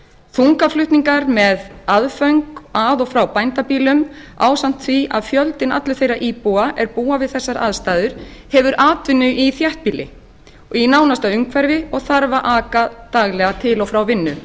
þungaflutningar með aðföng að og frá bændabýlum ásamt því að fjöldinn allur þeirra íbúa er búa við þessar aðstæður hefur atvinnu í þéttbýli og í nánasta umhverfi og þarf að aka daglega til og frá vinnu